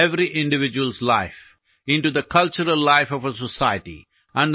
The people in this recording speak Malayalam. സമാധാനത്തിന്റെയും സന്തോഷത്തിന്റെയും ആനന്ദത്തിന്റെയും രസതന്ത്രത്തിനായി പ്രവർത്തിക്കേണ്ടതുണ്ട്